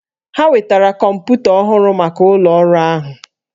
Ha wetara kọmpụta ọhụrụ maka ụlọ ọrụ ahụ